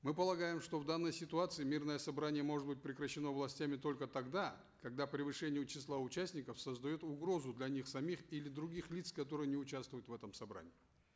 мы полагаем что в данной ситуации мирное собрание может быть прекращено властями только тогда когда превышение числа участников создает угрозу для них самих или других лиц которые не участвуют в этом собрании